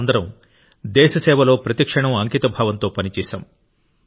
మనమందరం దేశ సేవలో ప్రతి క్షణం అంకితభావంతో పనిచేశాం